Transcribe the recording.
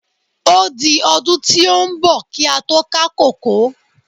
Ó di ọdún tí ó ń bọ̀ kí á tó ká kòkó.